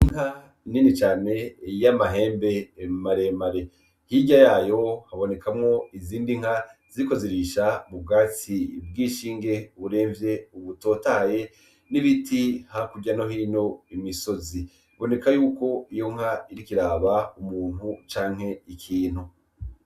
Inka nini cane y’amahembe maremare ,hirya yayo habonekamwo izindi nka ziriko zirisha ubwatsi bw’inshinge buremvye ,butotahaye, n’ibiti hakurya no hino mu misozi. Biboneka yuko iyi nka iriko iraraba umuntu canke ikintu .